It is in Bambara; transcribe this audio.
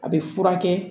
A bɛ furakɛ